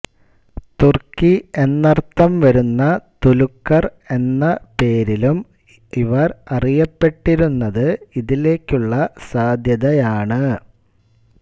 തുർക്കി എന്നർത്ഥം വരുന്ന തുലുക്കർ എന്ന പേരിലും ഇവർ അറിയപ്പെട്ടിരുന്നത് ഇതിലേക്കുള്ള സാദ്ധ്യതയാണ്